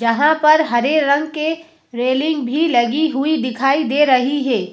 जहां पर हरे रंग के रेलिंग भी लगी हुई दिखाई दे रही है।